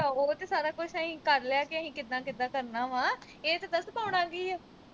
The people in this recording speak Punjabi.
ਉਹ ਚ ਸਾਰਾ ਕੁਸ਼ ਅਸੀਂ ਕਰਲਿਆ ਕਿ ਅਸੀਂ ਕਿਦਾਂ ਕਿਦਾਂ ਕਰਨਾ ਵਾ। ਇਹ ਤਾਂ ਦੱਸ ਪਾਉਣਾ ਕੀ ਆ?